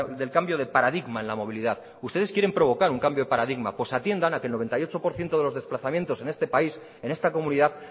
del cambio de paradigma en la movilidad ustedes quieren provocar un cambio de paradigma pues atiendan a que el noventa y ocho por ciento de los desplazamientos en este país en esta comunidad